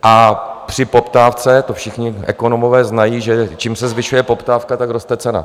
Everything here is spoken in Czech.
A při poptávce, to všichni ekonomové znají, že čím se zvyšuje poptávka, tak roste cena.